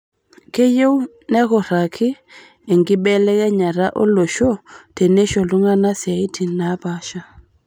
Keyieu nekuraki enkibelekenyata olosho teneisho iltung'ana siatin naapasha